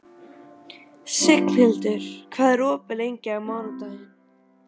Signhildur, hvað er opið lengi á mánudaginn?